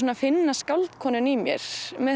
að finna skáldkonuna í mér